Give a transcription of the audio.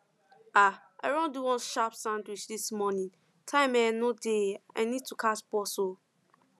um i run do one sharp sandwich this morning time um no dey i need catch bus um